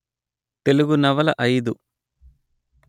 తెలుగు నవల అయిదు